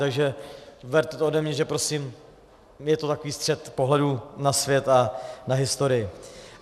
Takže berte to ode mě, že prostě je to takový střet pohledů na svět a na historii.